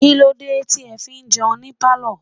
Kílódé tí ẹ fi ń jẹun ní pálọ̀?